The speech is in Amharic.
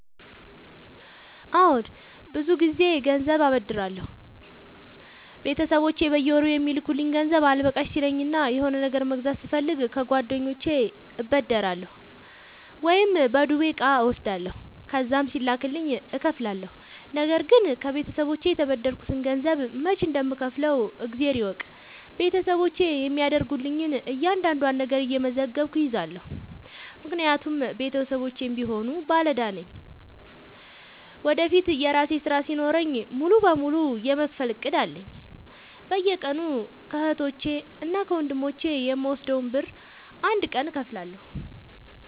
አዎድ ብዙ ግዜ ገንዘብ አበደራለሁ ቤተሰቦቼ በየወሩ የሚልኩልኝ ገንዘብ አልበቃሽ ሲለኝ እና የሆነ ነገር መግዛት ስፈልግ ከጓደኞቼ እበደራለሁ። ወይም በዱቤ እቃ እወስዳለሁ ከዛም ሲላክልኝ እከፍላለሁ። ነገርግን ከቤተሰቦቼ የተበደርከትን ገንዘብ መች እንደም ከውፍለው እግዜር ይወቅ ቤተሰቦቼ የሚያደርጉልኝን እያንዳዷን ነገር እየመዘገብኩ እይዛለሁ። ምክንያቱም ቤተሰቦቼም ቢሆኑ ባለዳ ነኝ ወደፊት የራሴ ስራ ሲኖረኝ ሙሉ በሙሉ የመክፈል እቅድ አለኝ። በየቀኑ ከህቶቼ እና ከወንድሞቼ የምወስደውን ብር አንድ ቀን እከፍላለሁ።